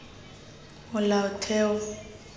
molaotheo